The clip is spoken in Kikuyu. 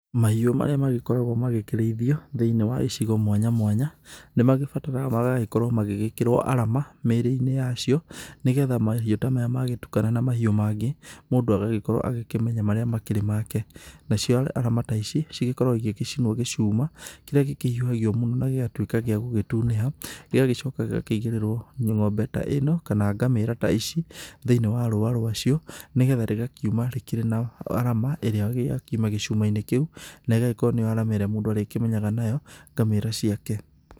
Mahiũ marĩa magĩkoragwo magĩkĩrĩithio thĩ-inĩ wa icigo mwanya mwanya nĩ magĩbataraga magagĩkorwo magĩgĩkĩrwo arama mĩrĩ-inĩ yacio nĩgetha mahĩũ ta maya magĩtukana na mahiũ mangĩ, mũndũ agagĩkorwo agĩkĩmenya marĩa makĩrĩ make. Nacio arama ta ici cigĩkoragwo igĩgĩcinwo gĩcuma kĩria gĩkĩhiũhagio mũno na gĩgatuĩka gĩa gũgĩtunĩha gĩgagĩcoka gĩgakĩigĩrĩrwo ng'ombe ta ĩno kana ngamĩra ta ici thĩinĩ wa rũa rwacio nĩgetha rĩgakiuma rĩkĩrĩ na arama ĩrĩa yakiuma gĩcuma-inĩ kĩu na ĩgakorwo nĩyo arama ĩrĩa mũndũ arĩkĩmenyaga nayo ngamĩra ciake.